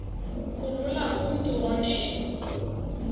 kulula kumntu onen